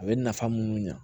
A bɛ nafa munnu ɲa